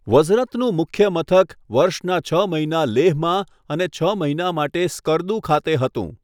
વઝરતનું મુખ્ય મથક વર્ષના છ મહિના લેહમાં અને છ મહિના માટે સ્કર્દુ ખાતે હતું.